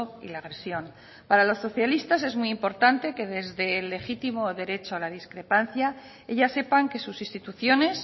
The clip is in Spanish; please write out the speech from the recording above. y la agresión para los socialistas es muy importante que desde el legítimo derecho a la discrepancia ellas sepan que sus instituciones